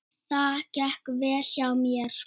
Það gekk vel hjá mér.